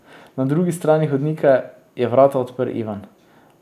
Na drugi strani hodnika je vrata odprl Ivan.